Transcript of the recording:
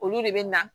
Olu de bɛ na